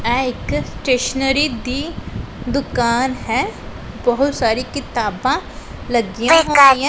ਐ ਇੱਕ ਸਟੇਸ਼ਨਰੀ ਦੀ ਦੁਕਾਨ ਹੈ ਬਹੁਤ ਸਾਰੀ ਕਿਤਾਬਾਂ ਲੱਗੀਆਂ --